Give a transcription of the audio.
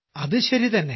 അതു ശരിതന്നെ